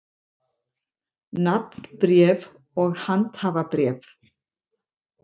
Nafnbréf og handhafabréf.